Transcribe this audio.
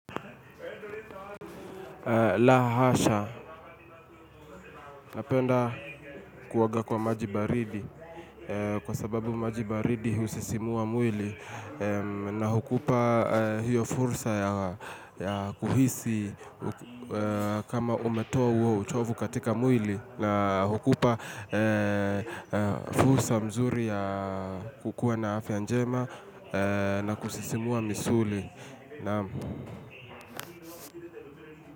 La hasha napenda kuoga kwa maji baridi kwa sababu maji baridi husisimua mwili na hukupa hiyo fursa ya kuhisi kama umetoa huo uchovu katika mwili na hukupa fursa mzuri ya kukuwa na afya njema na kusisimua misuli. Naam.